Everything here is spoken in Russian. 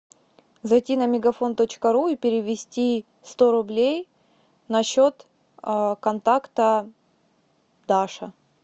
зайти на мегафон точка ру и перевести сто рублей на счет контакта даша